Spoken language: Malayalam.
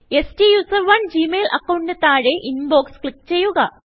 STUSERONEജി മെയിൽ അക്കൌണ്ടിന് താഴെ Inboxക്ലിക്ക് ചെയ്യുക